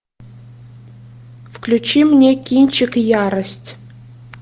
включи мне кинчик ярость